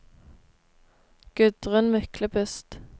Gudrun Myklebust